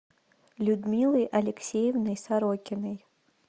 людмилой алексеевной сорокиной